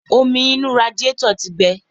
Omi inú radíetọ̀ tí gbe.